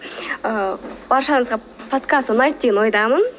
ы баршаңызға подкаст ұнайды деген ойдамын